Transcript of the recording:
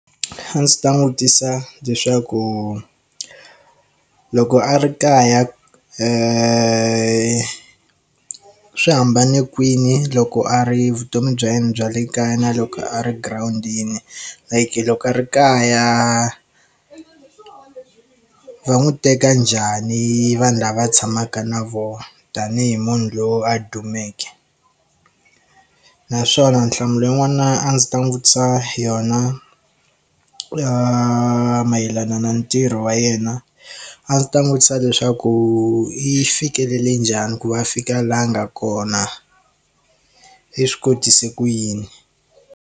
A ndzi ta n'wi vutisa leswaku loko a ri kaya swi hambane kwini loko a ri vutomi bya yena bya le kaya na loko a ri girawundini i ku loko a ri kaya va n'wi teka njhani vanhu lava tshamaka na vona tanihi munhu loyi a dumeke naswona nhlamulo ya yin'wana a ndzi ta n'wi vutisa yona ya mayelana na ntirho wa yena a ndzi ta n'wi vutisa leswaku i fikelele njhani ku va fika laha nga kona i swi kotise ku yini.